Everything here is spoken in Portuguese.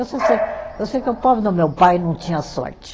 Eu só sei, eu sei que o pobre do meu pai não tinha sorte.